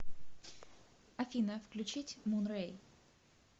афина включить мун рэй